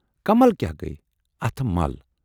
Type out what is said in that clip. کمل کیاہ گٔیۍ، اتھٕ مل۔